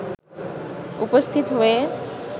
উপস্থিত হয়ে